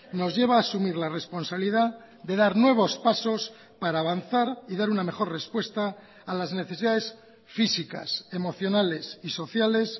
nos lleva a asumir la responsabilidad de dar nuevos pasos para avanzar y dar una mejor respuesta a las necesidades físicas emocionales y sociales